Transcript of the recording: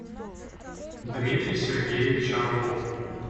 дмитрий сергеевич орлов